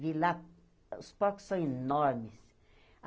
Vi lá, os porcos são enormes.